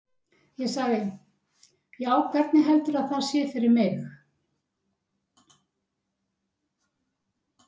Ég sagði: Já, hvernig heldurðu að það sé fyrir mig?